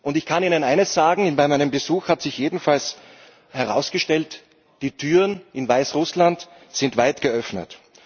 Ich kann Ihnen eines sagen Bei meinem Besuch hat sich jedenfalls herausgestellt, die Türen in Weißrussland sind weit geöffnet.